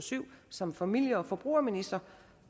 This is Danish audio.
og syv som familie og forbrugerminister